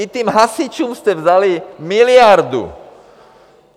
I těm hasičům jste vzali miliardu.